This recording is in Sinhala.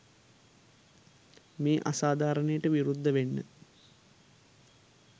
මේ අසාධාරණයට විරුද්ධ වෙන්න